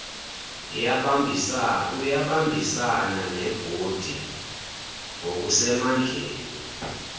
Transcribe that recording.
uyabambisana nebhodi ngokusemandleni